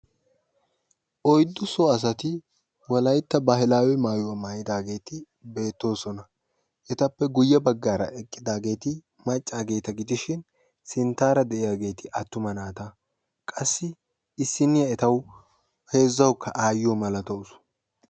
Oyddu so asati wolaytta baahilaawe maayuwa maayidaageeti beettoosona. etappe guyye baggaara eqqidaageeti maccaageeta gidishin sinttaara de'iyageeti attuma naata qassi issinniya etawu heezzawukka aayyiyo malatawus.